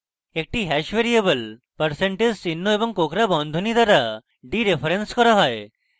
একটি hash variable % চিহ্ন এবং কোঁকড়া বন্ধনী দ্বারা ডিরেফারেন্স করা হয়